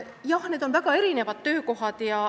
Jah, need on väga erinevad töökohad.